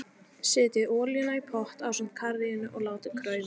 Setjið olíuna í pott ásamt karríinu og látið krauma.